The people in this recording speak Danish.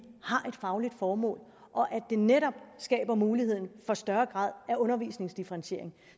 har et fagligt formål og at det netop skaber mulighed for større grad af undervisningsdifferentiering